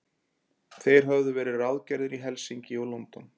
Þeir höfðu verið ráðgerðir í Helsinki og London.